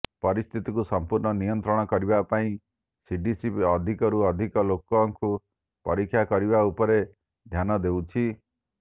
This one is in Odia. ପରିସ୍ଥିତିକୁ ସମ୍ପୂର୍ଣ୍ଣ ନିୟନ୍ତ୍ରଣ କରିବା ପାଇଁ ସିଡିସି ଅଧିକରୁ ଅଧିକ ଲୋକଙ୍କୁ ପରୀକ୍ଷା କରିବା ଉପରେ ଧ୍ୟାନ ଦେଉଛି